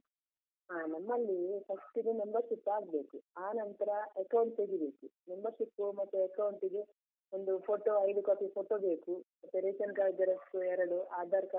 ಹಾ ನಮ್ಮಲ್ಲಿ first ಗೆ membership ಆಗ್ಬೇಕು ಆನಂತ್ರ account ತೆಗಿಬೇಕು membership ಮತ್ತೆ account ಗೆ ಒಂದು photo ಐದು copy photo ಬೇಕು, ಮತ್ತೆ Ration card xerox ಎರಡು, Aadhar card .